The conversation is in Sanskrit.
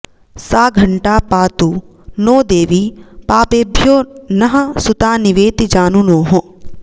सा घण्टा पातु नो देवि पापेभ्यो नः सुतानिवेति जानुनोः